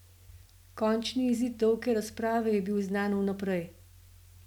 Končni izid dolge razprave je bil znan vnaprej.